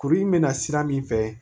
Kuru in mɛ na sira min fɛ